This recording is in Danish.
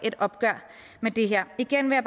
et opgør med det her igen vil